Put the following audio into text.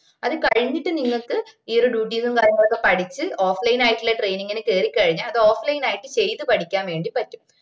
അത് കഴിഞ്ഞിട്ട് നിങ്ങക്ക് ഈ ഒര് duties ഉം കാര്യങ്ങളൊക്കെ പടിച്ച് offline ആയിട്ടുള്ള training ന് കേറി കഴിഞ്ഞ അത് offline ആയിട്ട് ചെയ്ത് പഠിക്കാൻ വേണ്ടി പറ്റും